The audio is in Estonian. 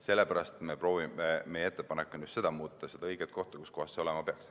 Sellepärast ongi meie ettepanek muuta just seda – seda õiget kohta, kus see olema peaks.